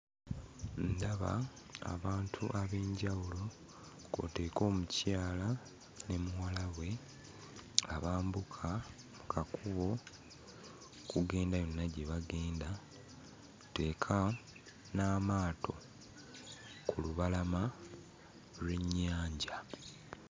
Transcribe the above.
Ndaba abantu ab'enjawulo kw'oteeka omukyala ne muwala we abambuka mu kakubo okugenda yonna gye bagenda, kw'oteeka n'amaato ku lubalama lw'ennyanja.